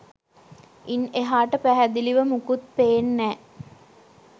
ඉන් එහාට පැහැදිලිව මුකුත් පේන්නෑ